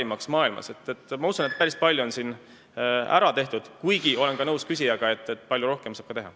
Ma usun, et siin on päris palju ära tehtud, kuigi olen nõus ka küsijaga, et saab veel palju rohkem teha.